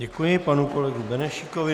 Děkuji panu kolegovi Benešíkovi.